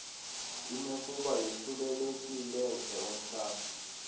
inokuba yosulelekileze umhlambe